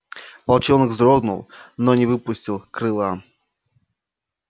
волчонок вздрогнул но не выпустил крыла